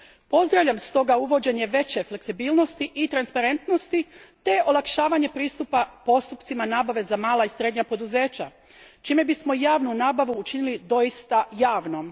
Pozdravljam stoga uvođenje veće fleksibilnosti i transparentnosti te olakšavanje pristupa postupcima nabave za mala i srednja poduzeća čime bismo javnu nabavu učinili doista javnom.